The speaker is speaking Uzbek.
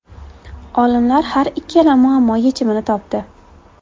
Olimlar har ikkala muammo yechimini topdi.